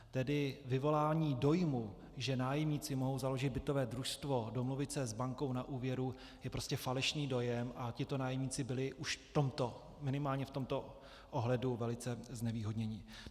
Tedy vyvolání dojmu, že nájemníci mohou založit bytové družstvo, domluvit se s bankou na úvěru, je prostě falešný dojem a tito nájemníci byli už minimálně v tomto ohledu velice znevýhodněni.